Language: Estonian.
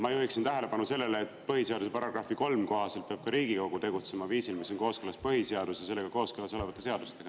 Ma juhin tähelepanu sellele, et põhiseaduse § 3 kohaselt peab ka Riigikogu tegutsema viisil, mis on kooskõlas põhiseaduse ja sellega kooskõlas olevate seadustega.